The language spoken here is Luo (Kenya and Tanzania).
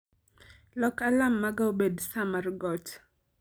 lok alarm maga obed saa mar got